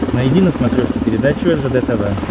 найди на смотрешке передачу ржд тв